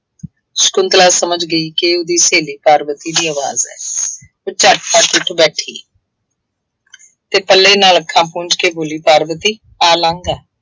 ਸ਼ੰਕੁਤਲਾ ਸਮਝ ਗਈ ਕਿ ਉਹਦੀ ਸਹੇਲੀ ਪਾਰਵਤੀ ਦੀ ਆਵਾਜ਼ ਹੈ। ਉਹ ਝੱਟ ਪੱਟ ਉੱਠ ਬੈਠੀ। ਅਤੇ ਪੱਲੇ ਨਾਲ ਅੱਖਾਂ ਪੂੰਝ ਕੇ ਬੋਲੀ ਪਾਰਵਤੀ ਆ ਲੰਘ ਆ।